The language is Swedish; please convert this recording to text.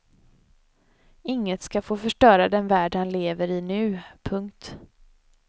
Inget ska få förstöra den värld han lever i nu. punkt